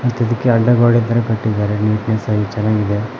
ಮತ್ತು ಇದುಕ್ಕೆ ಅಡ್ಡ ಗೋಡೆತರ ಕಟ್ಟಿದ್ದಾರೆ ನೀಟ್ನೆಸ್ ಆಗಿ ಚನಾಗ್ ಇದೆ.